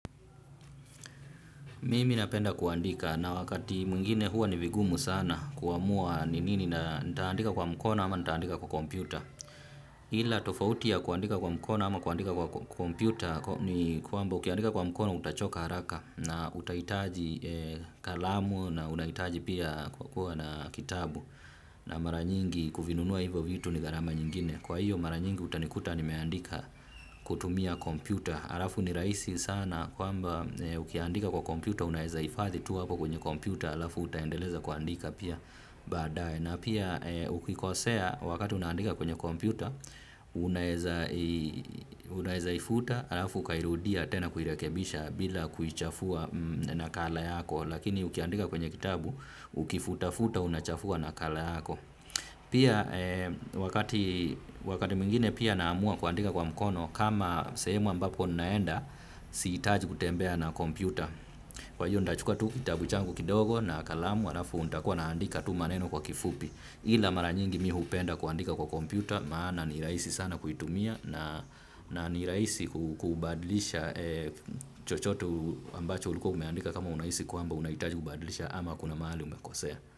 Mimi napenda kuandika na wakati mwingine huwa ni vigumu sana kuamua ni nini na nitaandika kwa mkono ama nitaandika kwa kompyuta. Hila tofauti ya kuandika kwa mkono ama kuandika kwa kompyuta ni kwamba ukiandika kwa mkono utachoka haraka na utahitaji kalamu na unahitaji pia kwa kuwa na kitabu na maranyingi kuvinunua hivyo vitu ni gharama nyingine. Kwa hiyo mara nyingi utanikuta nimeandika kutumia kompyuta. Alafu ni rahisi sana kwamba ukiandika kwa kompyuta unaeza hifathi tu hapo kwenye kompyuta. Alafu utaendeleza kuandika pia baadae. Na pia ukikosea wakati unaandika kwenye kompyuta unaeza unaeza ifuta. Alafu ukairudia tena kuirekebisha bila kuichafua na kala yako. Lakini ukiandika kwenye kitabu ukifuta futa unachafua na kala yako. Pia wakati mwingine pia naamua kuandika kwa mkono kama sehemu ambapo ninaenda siitaji kutembea na kompyuta. Kwa hiyo nitachukua tu kitabu changu kidogo na kalamu alafu nitakua naandika tu maneno kwa kifupi. Ila maranyingi mi hupenda kuandika kwa kompyuta maana nirahisi sana kuitumia na nirahisi kubadlisha chochote ambacho ulikuwa umeandika kama unahisi kwamba unaitaji kubadlisha ama kuna mahali umekosea.